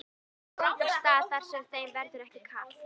Á einhvern góðan stað þar sem þeim verður ekki kalt.